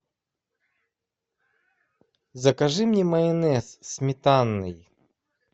закажи мне майонез сметанный